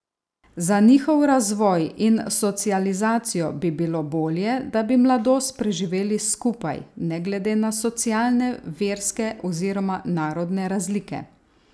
Za njihov razvoj in socializacijo bi bilo bolje, da bi mladost preživeli skupaj, ne glede na socialne, verske oziroma narodne razlike.